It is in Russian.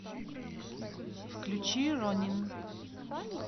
включи ронин